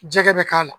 Jɛgɛ bɛ k'a la